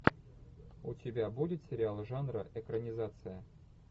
у тебя будет сериал жанра экранизация